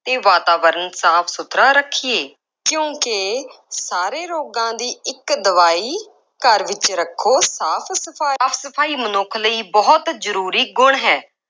ਅਤੇ ਵਾਤਾਵਰਨ ਸਾਫ ਸੁਥਰਾ ਰੱਖੀਏ। ਕਿਉਂਕਿ ਸਾਰੇ ਰੋਗਾਂ ਦੀ ਇੱਕ ਦਵਾਈ, ਘਰ ਵਿੱਚ ਰੱਖੋ ਸਾਫ ਸਫਾਈ। ਸਾਫ ਸਫਾਈ ਮਨੁੱਖ ਲਈ ਬਹੁਤ ਜ਼ਰੂ੍ਰੀ ਗੁਣ ਹੈ।